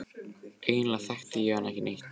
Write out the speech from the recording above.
Eiginlega þekkti ég hann ekki neitt.